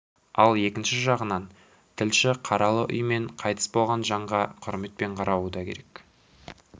ал екінші жағынан тілші қаралы үй мен қайтыс болған жанға құрметпен қарауы да керек